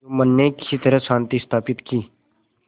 जुम्मन ने किसी तरह शांति स्थापित की